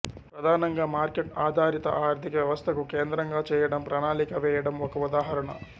ప్రధానంగా మార్కెట్ ఆధారిత ఆర్థిక వ్యవస్థకు కేంద్రంగా చేయడం ప్రణాళిక వేయడం ఒక ఉదాహరణ